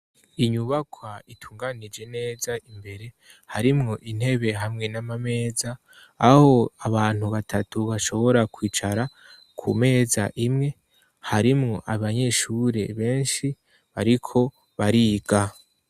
Inyubakwa itunganije neza imbere harimwo intebe hamwe n'amameza aho abantu batatu bashobora kwicara ku meza imwe harimwo abanyeshure benshi bariko bariga.